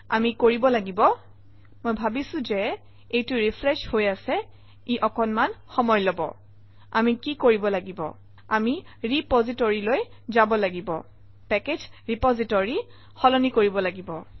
আমি কৰিব লাগিব - মই ভাবিছোঁ যে এইটো ৰিফ্ৰেচ হৈ আছে ই অকণমান সময় লব - আমি কি কৰিব লাগিব আমি ৰেপজিটৰীলৈ যাব লাগিব পেকেজ ৰেপজিটৰী সলনি কৰিব লাগিব